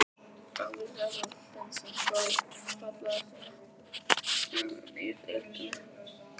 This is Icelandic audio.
Ágúst Eðvald Hlynsson, Þór.Fallegasti knattspyrnumaðurinn í deildinni?